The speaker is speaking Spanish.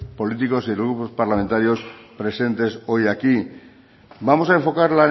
políticos y los grupos parlamentarios presentes hoy aquí vamos a enfocar